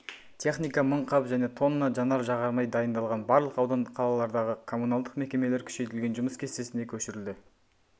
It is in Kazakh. техника мың қап және тонна жанар-жағармай дайындалған барлық аудан-қалалардағы коммуналдық мекемелер күшейтілген жұмыс кестесіне көшірілді